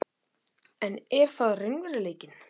En er það raunveruleikinn?